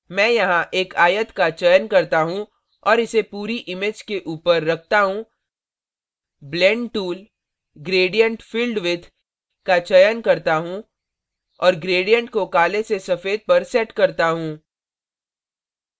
मैं यहाँ एक आयत का चयन करता हूँ और इसे पूरी image के ऊपर रखता हूँ blend tool gradient filled with का चयन करता हूँ और gradient को काले से सफ़ेद पर set करता हूँ